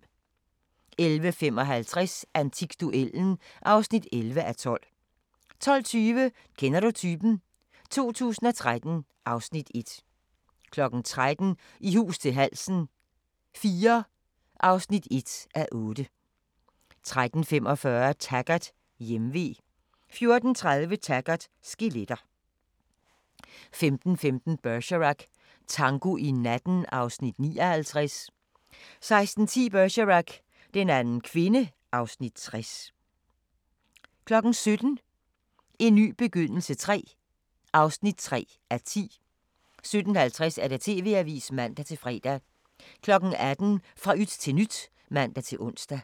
11:55: Antikduellen (11:12) 12:20: Kender du typen? 2013 (Afs. 1) 13:00: I hus til halsen IV (1:8) 13:45: Taggart: Hjemve 14:30: Taggart: Skeletter 15:15: Bergerac: Tango i natten (Afs. 59) 16:10: Bergerac: Den anden kvinde (Afs. 60) 17:00: En ny begyndelse III (3:10) 17:50: TV-avisen (man-fre) 18:00: Fra yt til nyt (man-ons)